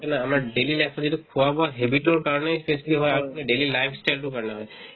আমাৰ daily life ত এইটো খোৱা-বোৱাৰ habit ৰ কাৰণে তো হয় আৰু তোমাৰ life style তোৰ কাৰণে হয়